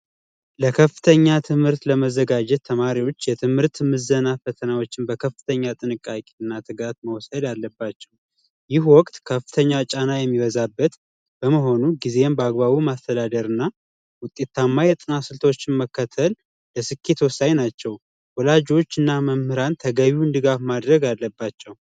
ለከፍተኛ ትምህርት ለመዘጋጀት ተማሪዎች የትምህርት ምዘና ፈተናዎችን በከፍተኛ ጥንቃቄ እና ትጋት መውሰድ አለባቸው። ይህ ወቅት ከፍተኛ ጫና የሚበዛበት በመሆኑ ጊዜን በአግባቡ ማስተዳደር እና ውጤታማ የጥናት ስልቶችን መከተል የስኬት ወሳኝ ናቸው። ወላጆችና መምህራን ተገቢውን ድጋፍ ማድረግ አለባቸው።